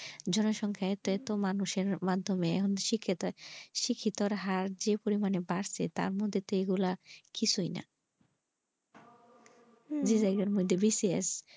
জন সংখ্যা এত এত মানুষের মাধ্যমে শিক্ষিতই শিক্ষিত হার যে পরিমানে বাড়ছে তার মধ্যে তো এগুলা কিছুই না যে জায়গার মধ্যে বেশি আছে।